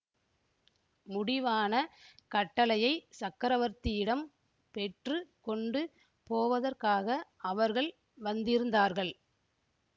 முடிவான கட்டளையைச் சக்கரவர்த்தியிடம் பெற்று கொண்டு போவதற்காக அவர்கள் வந்திருந்தார்கள்